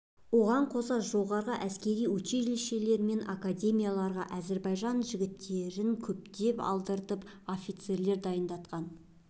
оған қоса жоғары әскери училищелер мен академияларға әзербайжан жігіттерн көптеп алдыртып офицерлер дайындатқан